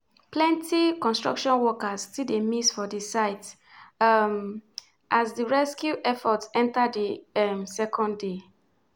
plenti construction workers still dey miss for di site um as di rescue effort enta di um second day.